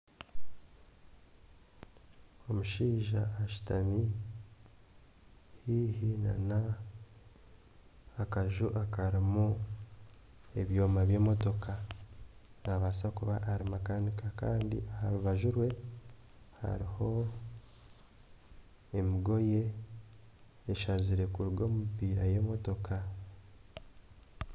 Omushaija ashutami haihi n'akaju akarimu ebyoma by'emotoka. Nabaasa kuba ari makanika kandi aha rubaju rwe hariho emigoye eshazire kuruga omu mipiira y'emotoka.